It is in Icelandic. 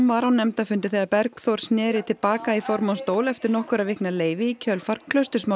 var á nefndarfundi þegar Bergþór sneri til baka í formannsstól eftir nokkurra vikna leyfi í kjölfar